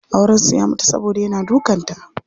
Auren su ya mutu saboda yana dukan ta.